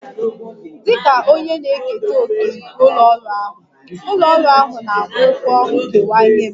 Dịka onye na-eketa òkè nke ụlọ ọrụ ahụ, ụlọ ọrụ ahụ na-akwụ ụgwọ nkewa nye m